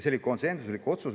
See oli konsensuslik otsus.